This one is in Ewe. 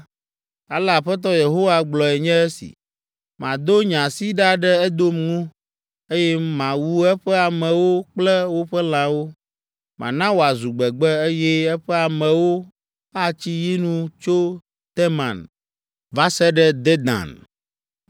ale Aƒetɔ Yehowa gblɔe nye si, ‘Mado nye asi ɖa ɖe Edom ŋu, eye mawu eƒe amewo kple woƒe lãwo. Mana wòazu gbegbe, eye eƒe amewo atsi yi nu tso Teman va se ɖe Dedan.